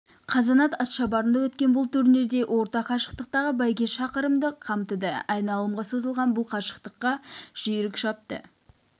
қазанат атшабарында өткен бұл турнирде орта қашықтықтағы бәйге шақырымды қамтыды айналымға созылған бұл қашықтыққа жүйрік шапты